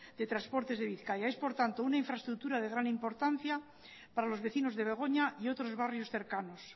de transportes de bizkaia es por tanto una infraestructura de gran importancia para los vecinos de begoña y otros barrios cercanos